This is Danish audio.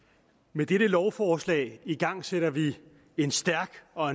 med dette lovforslag igangsætter vi en stærk og